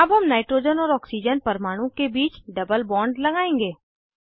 अब हम नाइट्रोजन और ऑक्सीजन परमाणु के बीच डबल बॉन्ड लगाएंगे